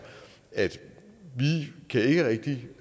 at vi ikke rigtig